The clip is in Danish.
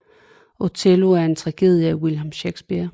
Othello er en tragedie af William Shakespeare